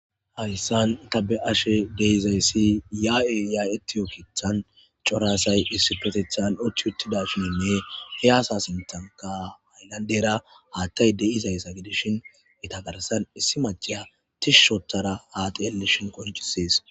hayssan tabe ashe deizayssi yaa7e yaayeti yo kithan corasay issi petethan uchchi uttida shiinne he asa sintanka ayllandera haattay de7izayssa gidishin ita garsan issi macheya tishushotara haate elishin konchisees